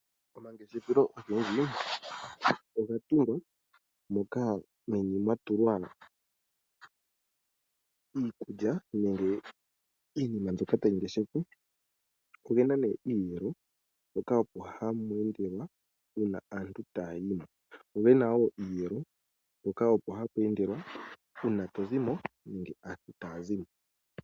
Omangeshefelo ogendji oga tungwa moka meni mwa tulwa iikulya nenge iinima mbyoka tayi ngeshefwa. Ogena nee iiyelo mpoka opo hapu endelwa uuna aantu taayi mo, go gena wo iiyelo mpoka opo hapu endelwa uuna to zimo nenge aantu taya zimo.